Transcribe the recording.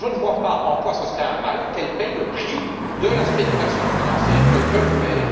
Je ne vois pas en quoi ce serait un mal qu'elles paient le prix de la spéculation financière qu'elles veulent faire.